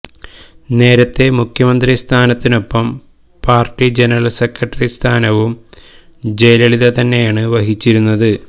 നേരത്തെ മുഖ്യമന്ത്രി സ്ഥാനത്തിനൊപ്പം പാർട്ടി ജനറൽ സെക്രട്ടറി സ്ഥാനവും ജയലളിത തന്നെയാണ് വഹിച്ചിരുന്നത്